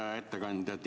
Hea ettekandja!